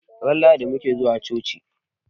Ran lahadi mutabe ke zuwa coci